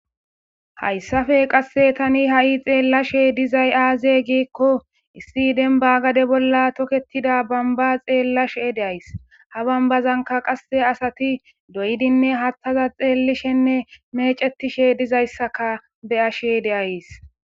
hayssafe qasse tani ha7i xeellashe dizay aaze giikko issi denba gade bolla toketida bamba xeellashe deays ha bambazanka qasse asati doydinne hattaza xeellishenne mecetishe dizayssaka be ashe deays